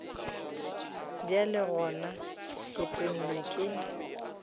bjale gona ke tennwe ke